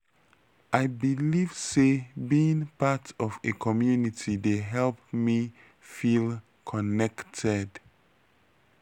i believe say being part of a community dey help me me feel connected.